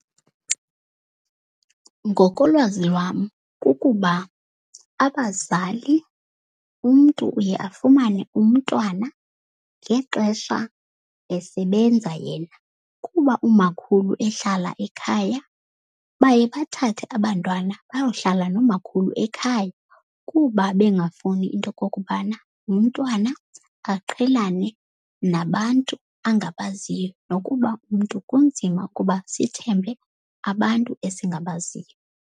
Ngokolwazi lwam kukuba abazali umntu uye afumane umntwana ngexesha esebenza yena. Kuba umakhulu ehlala ekhaya, baye bathathe abantwana bayohlala nomakhulu ekhaya. Kuba bengafuni into yokokubana umntwana aqhelane nabantu angabaziyo. Nokuba umntu kunzima ukuba sithembe abantu esingabaziyo.